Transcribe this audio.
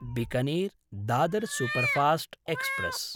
Bikaner Dadar superfast express